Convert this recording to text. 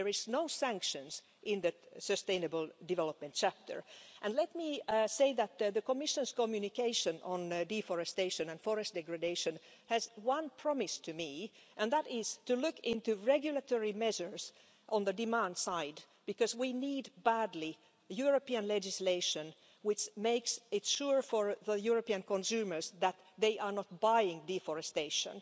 There are no sanctions in that sustainable development chapter and let me say that, as I understand it, the Commission's communication on deforestation and forest degradation contains one promise and that is to look into regulatory measures on the demand side, because we need badly European legislation which makes it sure for the European consumers that they are not buying deforestation.